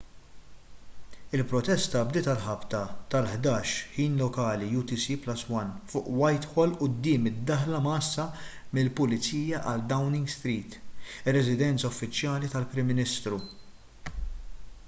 il-protesta bdiet għal ħabta tal-11:00 ħin lokali utc+1 fuq whitehall quddiem id-daħla mgħassa mill-pulizija għal downing street ir-residenza uffiċjali tal-prim ministru